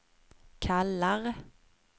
kallar